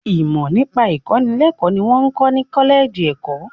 Ìmọ nípa ìkọ́nilẹ́kọ̀ ni wọn ń kọ́ ni kọ́lẹ́ẹ́jì ẹ̀kọ́.